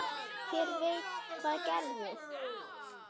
Hver veit hvað gerist?